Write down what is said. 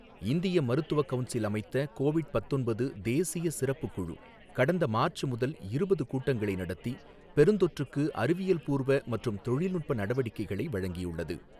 இந்திய மருத்துவ கவுன்சில் அமைத்த கோவிட் பத்தொன்பது தேசிய சிறப்புக் குழு கடந்த மார்ச் முதல் இருபது கூட்டங்களை நடத்தி பெருந்தொற்றுக்கு அறிவியல் பூர்வ மற்றும் தொழில்நுட்ப நடவடிக்கைகளை வழங்கியுள்ளது.